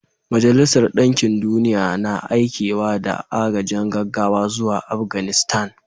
Majalisar Dinkin Duniya na aikewa da agajin gaggawa zuwa Afganistan